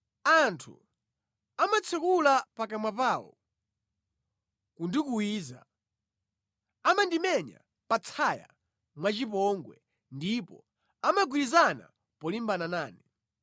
Anthu amatsekula pakamwa pawo kundikuwiza; amandimenya pa tsaya mwachipongwe ndipo amagwirizana polimbana nane.